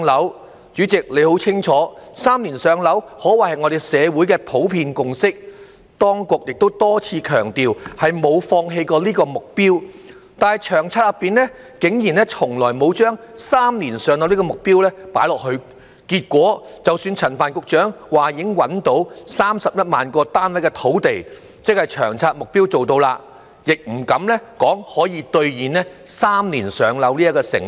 代理主席，你很清楚"三年上樓"可謂是社會的普遍共識，當局亦多次強調沒有放棄這個目標，但《長策》內竟然從來沒有"三年上樓"的目標，結果是即使陳帆局長說已找到31萬個單位的土地，即《長策》目標做到了，也不敢說可以兌現"三年上樓"這個承諾。